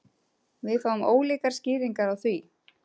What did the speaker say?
Við fáum ólíkar skýringar á því